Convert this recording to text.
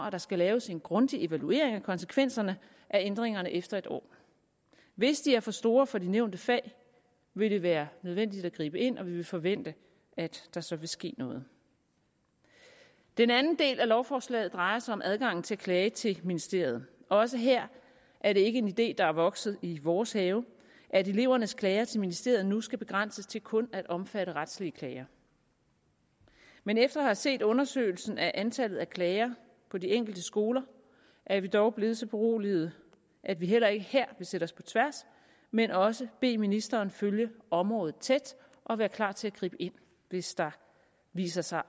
at der skal laves en grundig evaluering af konsekvenserne af ændringerne efter et år hvis de er for store for de nævnte fag vil det være nødvendigt at gribe ind og vi vil forvente at der så vil ske noget den anden del af lovforslaget drejer sig om adgangen til at klage til ministeriet også her er det ikke en idé der er vokset i vores have at elevernes klager til ministeriet nu skal begrænses til kun at omfatte retlige klager men efter at have set undersøgelsen af antallet af klager på de enkelte skoler er vi dog blevet så beroliget at vi heller ikke her vil stille os på tværs men også bede ministeren følge området tæt og være klar til at gribe ind hvis der viser sig